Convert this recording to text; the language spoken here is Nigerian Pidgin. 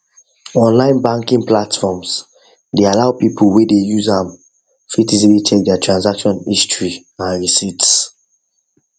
online banking platforms dey allow people whey dey use am fit easily check their transactions history and receipts